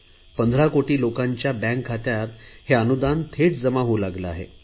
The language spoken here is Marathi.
15 कोटी लोकांच्या बँक खात्यात हे अनुदान थेट जमा होऊ लागले आहे